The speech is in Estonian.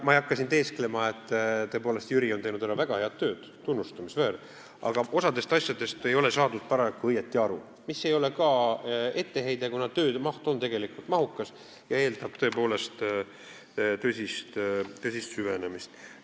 Ma ei hakka teesklema, tõepoolest on Jüri teinud väga head tööd, see on tunnustamist väärt, aga osast asjadest ei ole ta paraku õigesti aru saanud, mis ei ole ka etteheide, kuna töö on tegelikult mahukas ja eeldab tõsist süvenemist.